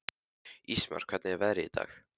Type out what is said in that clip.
Ísmar, hvernig er veðrið í dag?